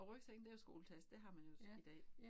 Og rygsækken det jo skoletaske det har man jo i dag